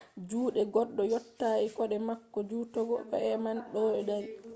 juɗe goɗɗo yottai koɗe mako jutugo ko e’al man ɗo dari